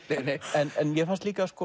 en mér fannst líka